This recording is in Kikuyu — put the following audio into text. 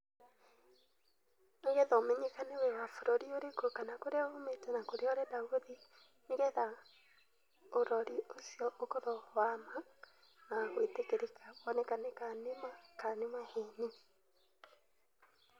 Nĩ getha ũmenyekane wĩ wa bũrũri ũrĩkũ, kana kũrĩa umĩte, na kũrĩa ũrenda gũthi. Nĩgetha ũrori ũcio ũkorũo wama na gũĩtĩkĩrĩka wonekane kana nĩma kana nĩ maheni.